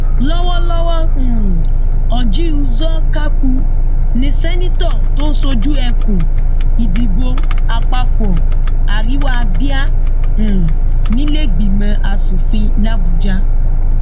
lọwọlọwọ um orji uzor kaku ní seneto tó ń ṣojú ẹkùn ìdìbò àpapọ àríwá abia um níleegbìmọ asòfin labujà